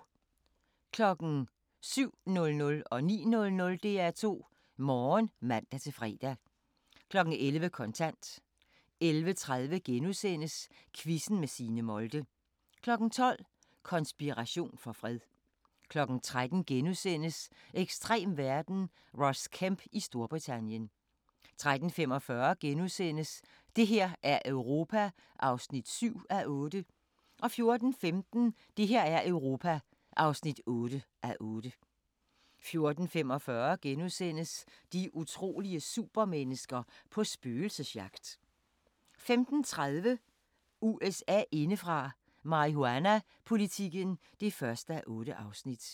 07:00: DR2 Morgen (man-fre) 09:00: DR2 Morgen (man-fre) 11:00: Kontant 11:30: Quizzen med Signe Molde * 12:00: Konspiration for fred 13:00: Ekstrem verden – Ross Kemp i Storbritannien * 13:45: Det her er Europa (7:8)* 14:15: Det her er Europa (8:8) 14:45: De utrolige supermennesker – på spøgelsesjagt * 15:30: USA indefra: Marihuanapolitikken (1:8)